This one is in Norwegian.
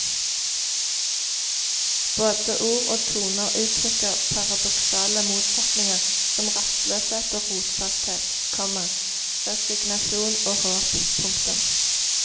Både ord og toner uttrykker paradoksale motsetninger som rastløshet og rotfasthet, komma resignasjon og håp. punktum